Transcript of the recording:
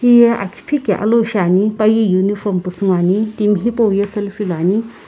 hiye akiphiki alou shiani paye uniform pusü ngoani timi hipauye selfie luani.